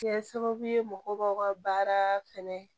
Kɛ sababu ye mɔgɔ b'aw ka baara fɛnɛ